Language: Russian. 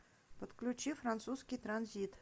подключи французский транзит